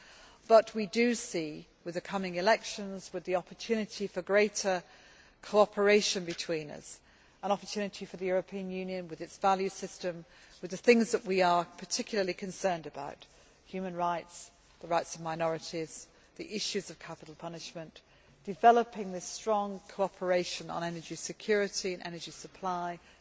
However, we can see, with the coming elections and with the opportunity for greater cooperation an opportunity for the European Union, with its value system and the things we are particularly concerned about human rights, the rights of minorities, the issues of capital punishment, developing strong cooperation on energy security and supply